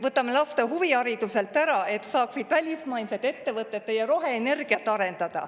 Võtame laste huvihariduselt ära, et välismaised ettevõtted saaksid teie roheenergiat arendada.